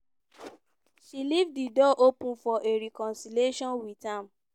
she leave di door open for a reconciliation with am.